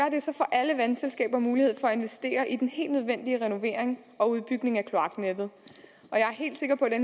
alle vandselskaber mulighed for at investere i den helt nødvendige renovering og udbygning af kloaknettet